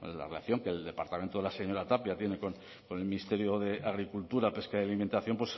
la relación que el departamento de la señora tapia tiene con el ministerio de agricultura pesca y alimentación